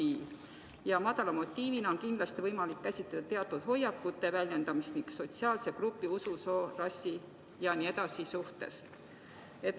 madala motiivina on kindlasti võimalik käsitleda teatud hoiakute väljendamist mingi sotsiaalse grupi, usu, soo, rassi ja muu suhtes.